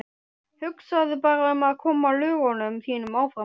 Hugsaðu bara um að koma lögunum þínum áfram.